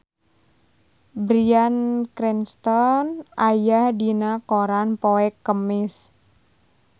Bryan Cranston aya dina koran poe Kemis